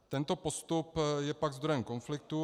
Tento postup je pak zdrojem konfliktů.